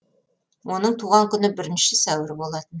оның туған күні бірінші сәуір болатын